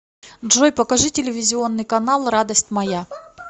джой покажи телевизионный канал радость моя